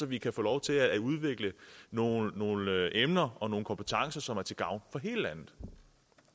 vi kan få lov til at udvikle nogle nogle emner og nogle kompetencer som er til gavn for hele landet